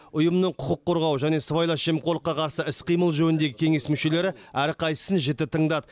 ұйымның құқық қорғау және сыбайлас жемқорлыққа қарсы іс қимыл жөніндегі кеңес мүшелері әрқайсысын жіті тыңдады